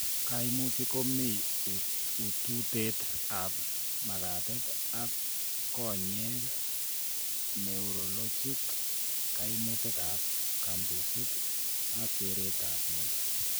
Kaimutik komii ututet ab makatet ak konyek, neurologic, kaimutik ab kabuuset ak kerertab met